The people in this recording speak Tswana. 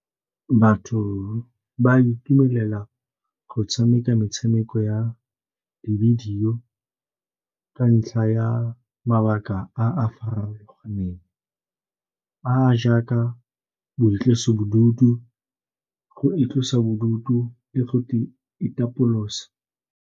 Batho ba itumelela go tshameka metshameko ya le di bidio ka ntlha ya mabaka a a farologaneng a a jaaka boitlosobodutu, go itlosa bodutu le go itapolosa.